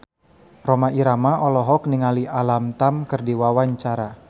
Rhoma Irama olohok ningali Alam Tam keur diwawancara